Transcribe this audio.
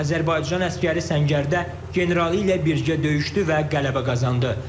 Azərbaycan əsgəri səngərdə generalı ilə birgə döyüşdü və qələbə qazandı.